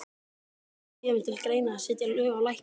Hjörtur: Kemur til greina að setja lög á lækna?